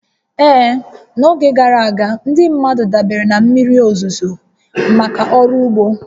Ee, n'oge gara aga, ndị mmadụ dabeere na mmiri òzùzò maka ọrụ úgbó